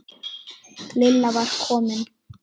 Lilla var komin.